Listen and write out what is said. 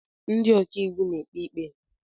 Ndị ọkaiwu na-ekpe ikpe.